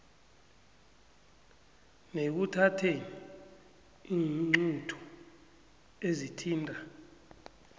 nekuthatheni iinqunto ezithinta